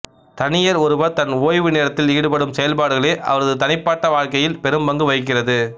தனியர் ஒருவர் தன் ஓய்வு நேரத்தில் ஈடுபடும் செயல்பாடுகளே அவரது தனிப்பாட்ட வாழ்க்கையில் பெரும்பங்கு வகிக்கிறது